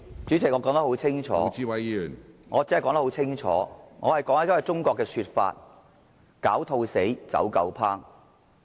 主席，我說得很清楚，我只是在引述一句中國的成語："狡兔死，走狗烹"。